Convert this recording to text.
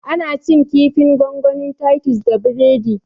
Ana cin kifin gongonin titus da biredi